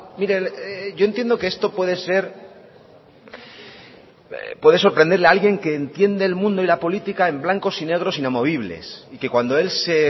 mire yo entiendo que esto puede ser puede sorprenderle a alguien que entiende el mundo y la política en blancos y negros inamovibles y que cuando él se